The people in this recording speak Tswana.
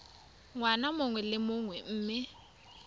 ngwaga mongwe le mongwe mme